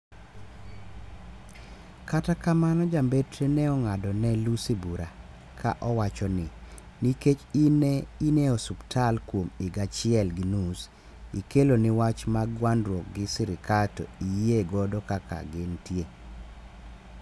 kata kamano ja mbetre ne ong'ado ne Lussi bura ka owacho ni: nikech in ne in e suptal kuom higa achiel gi nus ikelo ni wach mag gwandruok gi serikal to iyie godo kaka gin ntie